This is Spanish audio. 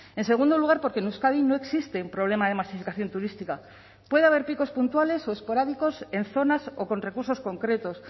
en segundo lugar porque en euskadi no existe un problema de masificación turística puede haber picos puntuales o esporádicos en zonas o con recursos concretos